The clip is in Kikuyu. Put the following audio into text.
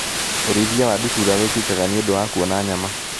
ũrĩithia wa ndutura wĩkĩkaga nĩũndũ wa kuona nyama.